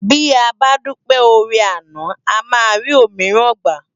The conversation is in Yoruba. Ti á bá dúpé órè àná àmá ri ómirán gbá